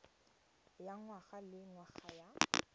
ya ngwaga le ngwaga ya